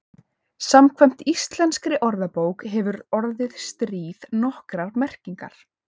Samkvæmt íslenskri orðabók hefur orðið stríð nokkrar merkingar.